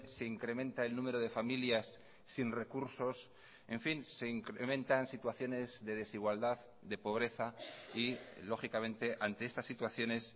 se incrementa el número de familias sin recursos en fin se incrementan situaciones de desigualdad de pobreza y lógicamente ante estas situaciones